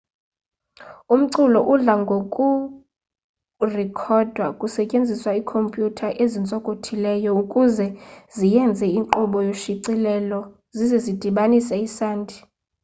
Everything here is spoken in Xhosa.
umculo udla ngokurekhodwa kusetyenziswa iikhomputha ezintsokothileyo ukuze zienze inkqubo yoshicilelo zize zidibanise isandi